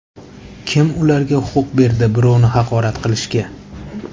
Kim ularga huquq berdi birovni haqorat qilishga?